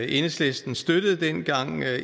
enhedslisten støttede dengang